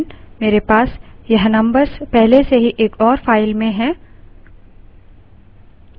समय की कमी के कारण मेरे पास यह numbers पहले से ही एक और file में हैं